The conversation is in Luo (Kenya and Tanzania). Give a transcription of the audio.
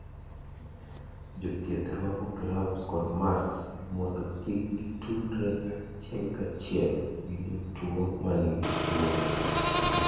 Jo thieth rwako gloves kod masks mondo kik gitudre achiel kachiel gi jotuo ma nigi tuwono